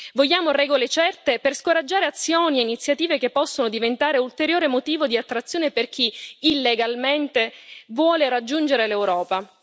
Vogliamo regole certe per scoraggiare azioni e iniziative che possano diventare ulteriore motivo di attrazione per chi, illegalmente, vuole raggiungere l'Europa.